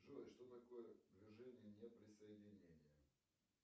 джой что такое движение неприсоединения